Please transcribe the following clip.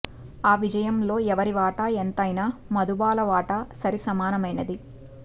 ఆ విజయంలో ఎవరి వాటా ఎంతైనా మధుబాల వాటా సరి సమానమైనది